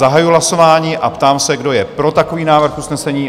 Zahajuji hlasování a ptám se, kdo je pro takový návrh usnesení?